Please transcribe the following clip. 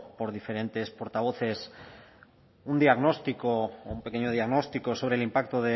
por diferentes portavoces un diagnóstico o un pequeño diagnóstico sobre el impacto